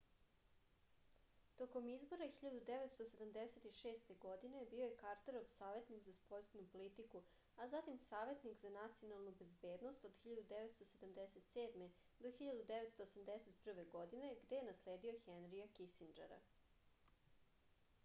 током избора 1976. године био је картеров саветник за спољну политику а затим саветник за националну безбедност nsa од 1977. до 1981. године где је наследио хенрија кисинџера